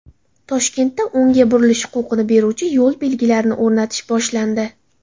Toshkentda o‘ngga burilish huquqini beruvchi yo‘l belgilarini o‘rnatish boshlandi.